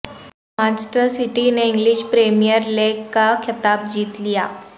Manchester City نے English Premier League کا خطاب جیت لیا